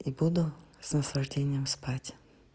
и буду с наслаждением спать